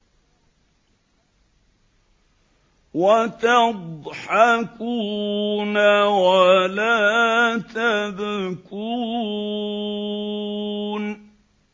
وَتَضْحَكُونَ وَلَا تَبْكُونَ